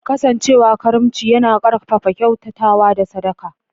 Kasancewa karimci yana ƙarfafa kyautatawa da sadaka.